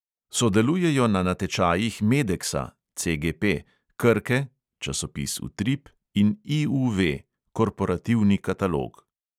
Sodelujejo na natečajih medeksa krke (časopis utrip) in IUV (korporativni katalog).